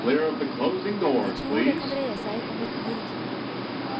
De tror det kan dreie seg om et mord.